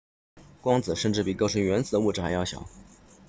光子甚至比构成原子的物质还要小